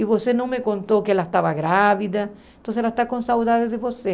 E você não me contou que ela estava grávida, então ela está com saudade de você.